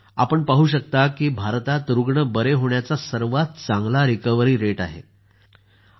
आपण पाहू शकता की भारतात रूग्ण बरे होण्याचा दर रिकव्हरी रेट सर्वात चांगला आहे